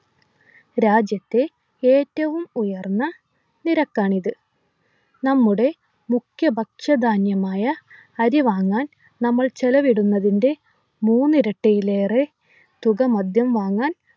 രാജ്യത്തെ ഏറ്റവും ഉയർന്ന നിരക്കാണിത് നമ്മുടെ മുഖ്യ ഭക്ഷ്യ ധാന്യമായ അരി വാങ്ങാൻ നമ്മൾ ചെലവിടുന്നതിൻ്റെ മൂന്നിരട്ടിയിലേറെ തുക മദ്യം വാങ്ങാൻ